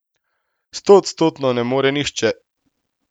Stoodstotno ne more nihče.